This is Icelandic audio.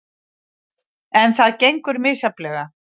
En það gengur misjafnlega.